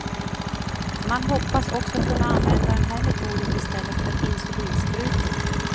Man hoppas också kunna använda den här metoden i stället för insulinsprutor.